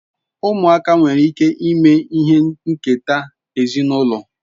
Muaka nwere ike ime ihe nketa ezinulo